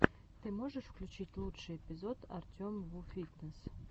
ты можешь включить лучший эпизод артемвуфитнесс